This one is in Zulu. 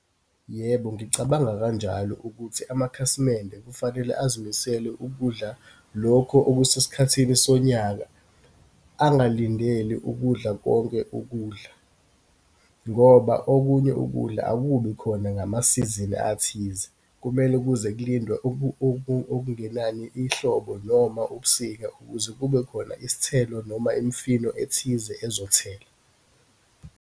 Yebo, ngicabanga kanjalo ukuthi amakhasimende kufanele azimisele ukudla lokho okusesikhathini sonyaka. Angalindeli ukudla konke ukudla, ngoba okunye ukudla akubi khona ngamasizini athize. Kumele kuze kulindwe, okungenani ihlobo noma ubusika ukuze kube khona isithelo noma imifino ethize ezothela.